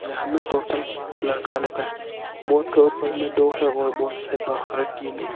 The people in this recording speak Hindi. यहाँ मे टोटल पांच लड़का लोग है बोट के ऊपर में दो है और बोट से बाहर तीन है।